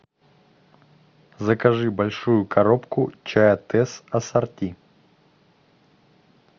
закажи большую коробку чая тесс ассорти